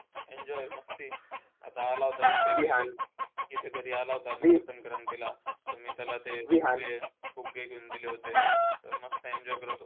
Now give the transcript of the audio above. Enjoy मस्ती आला होता इथे. इथे घरी आला होता. तर मी त्याला ते फुग्गे घेऊन दिले होते. तर मस्त enjoy करत होता.